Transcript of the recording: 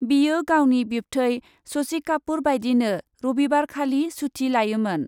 बियो गावनि बिब्थै शशि कापुर बायदिनो रबिबारखालि सुथि लायोमोन।